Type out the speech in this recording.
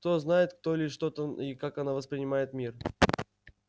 кто знает кто или что там и как оно воспринимает мир